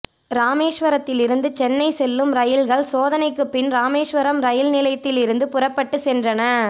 ராமேஸ்வரத்திலிருந்து சென்னை செல்லும் இரயில்கள் சோதணைக்குப்பின் இராமேஸ்வரம் இரயில் நிலையத்திலிருந்து புறப்பட்டு சென்றன